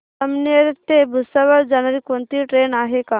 जामनेर ते भुसावळ जाणारी कोणती ट्रेन आहे का